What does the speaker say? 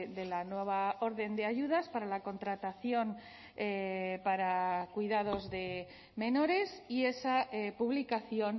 de la nueva orden de ayudas para la contratación para cuidados de menores y esa publicación